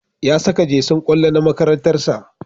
Ya saka jesin kwallo na makarantar sa